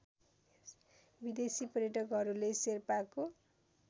विदेशी पर्यटकहरूले शेर्पाको